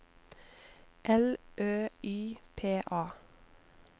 L Ø Y P A